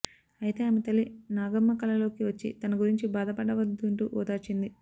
అయితే ఆమె తల్లి నాగమ్మ కలలోకి వచ్చి తనగురించి బాధపడవద్దంటూ ఓదార్చింది